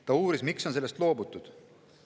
Ta uuris, miks on sellest loobutud.